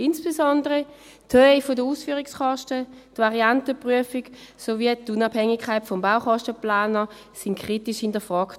Insbesondere die Höhe der Ausführungskosten, die Variantenprüfung sowie die Unabhängigkeit des Baukostenplaners wurden kritisch hinterfragt.